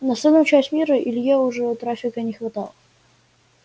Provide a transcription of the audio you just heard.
на остальную часть мира илье уже трафика не хватало